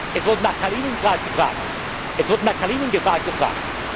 einnehmen. Es wurde nach Kaliningrad